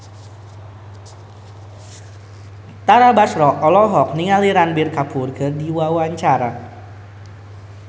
Tara Basro olohok ningali Ranbir Kapoor keur diwawancara